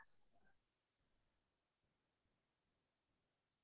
হয় হয় আছে আছে তেনেকোৱা